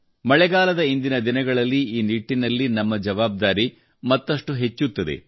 ಮಳೆಗಾಲದ ಇಂದಿನ ದಿನಗಳಲ್ಲಿ ಈ ನಿಟ್ಟಿನಲ್ಲಿ ನಮ್ಮ ಜವಾಬ್ದಾರಿ ಮತ್ತಷ್ಟು ಹೆಚ್ಚುತ್ತದೆ